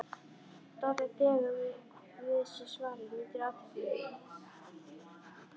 Doddi dregur við sig svarið, nýtur athyglinnar.